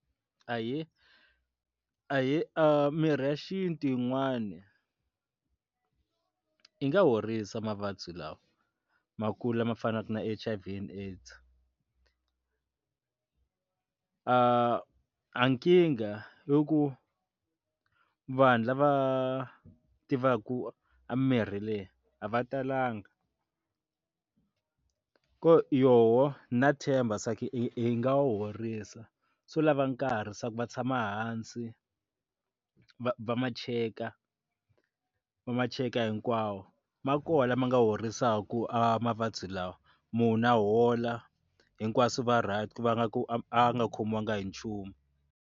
Ahee, ahee, mirhi ya xintu yin'wani yi nga horisa mavabyi lawa ma kula ma fanaka na H_I_V and AIDS a nkingha i ku vhanu va tiva ku a mirhi leyi a va talanga yoho na hi nga tshemba i nga wu horisa swo lava nkarhi swa ku va tshama hansi a va va ma cheka va ma cheka hinkwawo ma kona ma nga horisaku mavabyi lawa munhu a hola hinkwaswo va right va nga ku a nga khomiwanga hi nchumu.